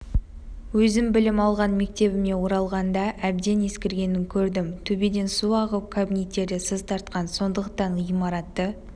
-өзім білім алған мектебіме оралғанда әбден ескіргенін көрдім төбеден су ағып кабинеттерде сыз тартқан сондықтан ғимаратты